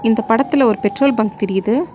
இந்த படத்துல ஒரு பெட்ரோல் பங்க் தெரியுது.